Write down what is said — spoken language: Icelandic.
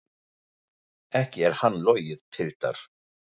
Ekki er á hann logið, piltar!